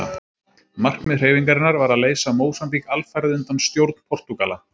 Markmið hreyfingarinnar var að leysa Mósambík alfarið undan stjórn Portúgala.